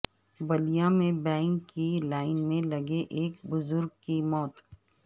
بلیا میں بینک کی لائن میں لگے ایک بزرگ کی موت